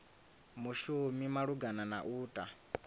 mushumi malugana na u ta